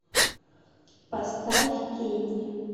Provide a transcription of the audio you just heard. поставь кенни